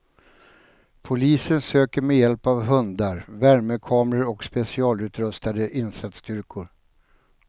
Polisen söker med hjälp av hundar, värmekamera och specialutrustade insatsstyrkor.